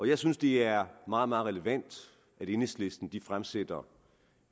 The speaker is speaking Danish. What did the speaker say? jeg synes det er meget relevant at enhedslisten fremsætter